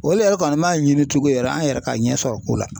Olu yɛrɛ kɔni man ɲini tugu yɛrɛ an yɛrɛ ka ɲɛsɔrɔ ko la.